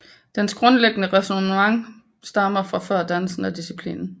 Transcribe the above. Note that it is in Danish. Dens grundlæggende ræsonnementer stammer fra før dannelsen af disciplinen